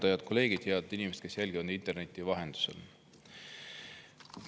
Head kolleegid ja head inimesed, kes te jälgite interneti vahendusel!